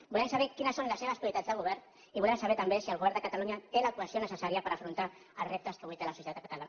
volem saber quines són les seves prioritats de govern i volem saber també si el govern de catalunya té la cohesió necessària per afrontar els reptes que avui té la societat catalana